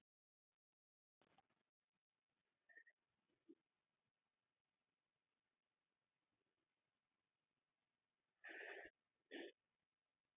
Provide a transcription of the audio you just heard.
Hvernig sýnist þér eftir þá yfirferð að framkvæmdin hafi verið?